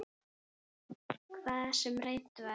Hvað sem reynt var.